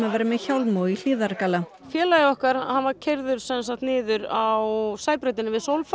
vera með hjálm og í félagi okkar var keyrður niður á Sæbrautinni við